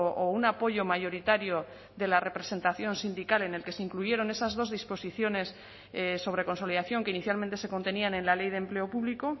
o un apoyo mayoritario de la representación sindical en el que se incluyeron esas dos disposiciones sobre consolidación que inicialmente se contenían en la ley de empleo público